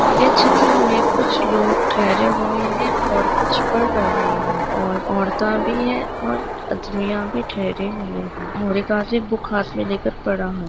ये चित्र मे कुछ लोग ठहरे हुए है और कुछ पढ़ रहे है और औरता भी है और आदमीया भी ठैरे हुए है और एक आदमी बूक हाथ मे लेकर पढ़ रहा है।